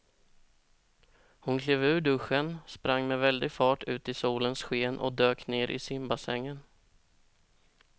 Hon klev ur duschen, sprang med väldig fart ut i solens sken och dök ner i simbassängen.